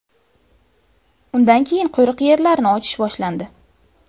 Undan keyin qo‘riq yerlarni ochish boshlandi.